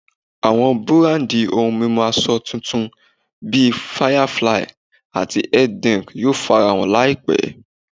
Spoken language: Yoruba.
Àwọn búrándi ohun mímu asọ titun bí Firefly ati health drink yóò farahàn láìpé